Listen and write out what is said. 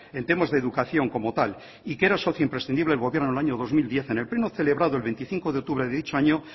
en temas de educación como tal y que era socio imprescindible del gobierno vasco en el año dos mil diez en el pleno celebrado el veinticinco de octubre de dicho año